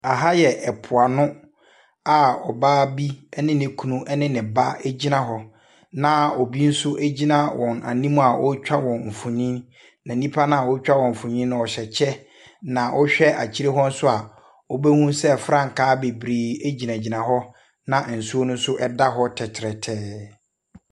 Aha yɛ ɛpo ano a ɔbaa bi ɛne ne kunu ɛne ne ba ɛgyina hɔ na ɔbi so ɛgyina wɔn nim a ɔɔtwa wɔn mfonin. Na nnipa naa ɔɔtwa wɔn mfonin no ɔhyɛ kyɛ na wo hwɛ akyire hɔ nso a wo bɛhu sɛ frankaa bebree ɛginagyina hɔ nsuo no nso ɛda hɔ tɛrɛtɛɛ.